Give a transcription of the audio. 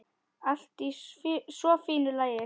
Allt í svo fínu lagi.